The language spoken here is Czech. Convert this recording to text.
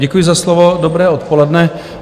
Děkuji za slovo, dobré odpoledne.